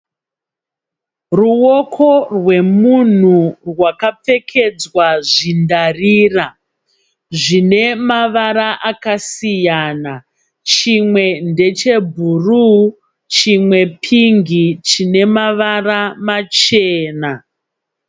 Ruwoko rwemunhu hwakapfekedzwa zvindarira zvine mavara akasiyana chimwe ndeche bhuruu chimwe pingi chine mavara machena.